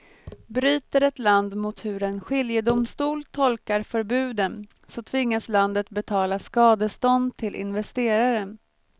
Bryter ett land mot hur en skiljedomstol tolkar förbuden så tvingas landet betala skadestånd till investeraren.